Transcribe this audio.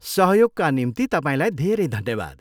सहयोगका निम्ति तपाईँलाई धेरै धन्यवाद।